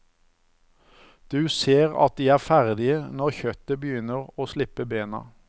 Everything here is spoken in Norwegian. Du ser at de er ferdige når kjøttet begynner å slippe bena.